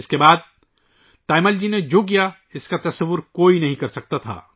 اس کے بعد تایمل جی نے ، جو کچھ کیا ، کوئی سوچ بھی نہیں سکتا تھا